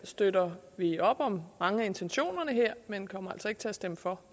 støtter vi op om mange af intentionerne her men kommer altså ikke til at stemme for